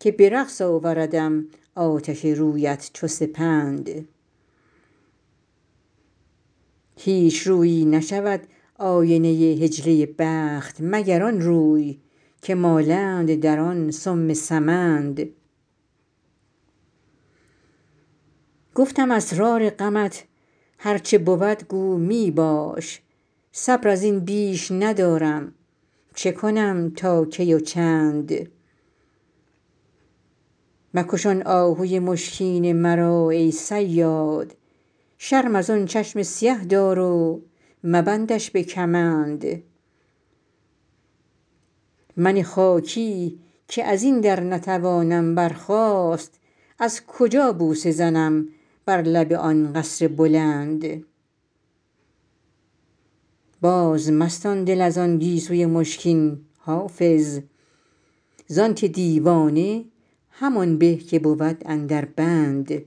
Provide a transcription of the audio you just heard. که به رقص آوردم آتش رویت چو سپند هیچ رویی نشود آینه حجله بخت مگر آن روی که مالند در آن سم سمند گفتم اسرار غمت هر چه بود گو می باش صبر از این بیش ندارم چه کنم تا کی و چند مکش آن آهوی مشکین مرا ای صیاد شرم از آن چشم سیه دار و مبندش به کمند من خاکی که از این در نتوانم برخاست از کجا بوسه زنم بر لب آن قصر بلند بازمستان دل از آن گیسوی مشکین حافظ زان که دیوانه همان به که بود اندر بند